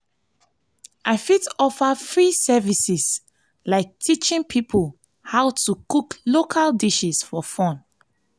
i fit offer free services like teaching people how to cook local dishes for fun. for fun.